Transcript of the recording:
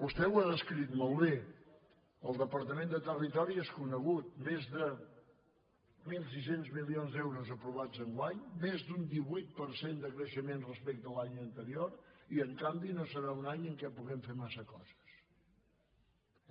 vostè ho ha descrit molt bé al departament de territori és conegut més de mil sis cents milions d’euros aprovats enguany més d’un divuit per cent de creixement respecte l’any anterior i en canvi no serà un any en què puguem fer massa coses